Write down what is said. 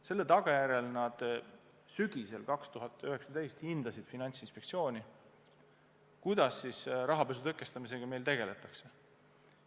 Selle tagajärjel nad sügisel 2019 hindasid Eesti Finantsinspektsiooni, kuidas meil siis rahapesu tõkestamisega tegeletakse.